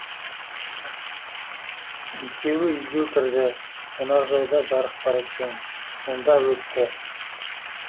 екеуі үйге кірді қонақжайда жарық бар екен сонда өтті